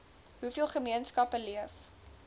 hoeveel gemeenskappe leef